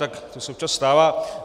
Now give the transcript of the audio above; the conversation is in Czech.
Tak to se občas stává.